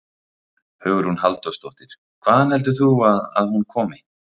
Hugrún Halldórsdóttir: Hvaðan heldur þú að hún komi?